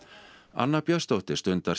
anna Björnsdóttir stundar